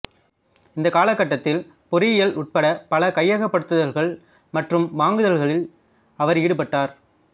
இந்த காலகட்டத்தில் பொறியியல் உட்பட பல கையகப்படுத்துதல்கள் மற்றும் வாங்குதல்களில் அவர் ஈடுபட்டார்